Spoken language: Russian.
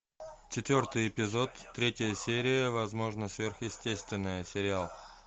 четвертый эпизод третья серия возможно сверхъестественное сериал